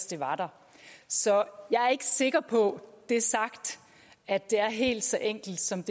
der så jeg er ikke sikker på at det er helt så enkelt som